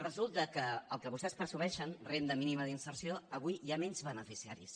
resulta que del que vostès presumeixen renda mínima d’inserció avui hi ha menys beneficiaris